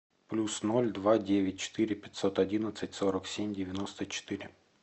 плюс ноль два девять четыре пятьсот одиннадцать сорок семь девяносто четыре